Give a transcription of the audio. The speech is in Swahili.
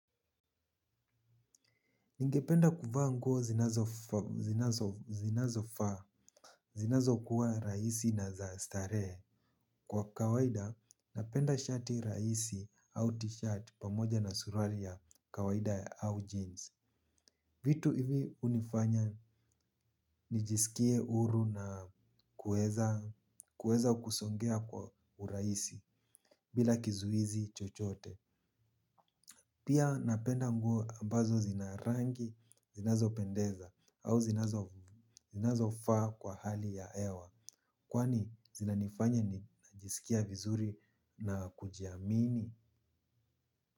Ningependa kuvaa nguo zinazo faa. Zinazo kuwa rahisi na za starehe. Kwa kawaida napenda shati rahisi au t-shirt pamoja na suruali ya kawaida au jeans. Vitu hivi unifanya nijisikie huru na kuweza kusongea kwa u rahisi bila kizuizi chochote. Pia napenda nguo ambazo zinarangi zinazo pendeza au zinazo faa kwa hali ya hewa. Kwani zinanifanya najisikia vizuri na kujiamini.